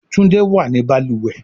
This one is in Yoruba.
Tunde wá ní baluwe.